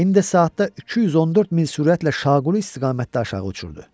İndi saatda 214 mil sürətlə şaquli istiqamətdə aşağı uçurdu.